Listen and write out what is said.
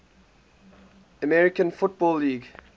american football league